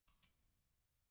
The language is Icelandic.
Já, það er horfið.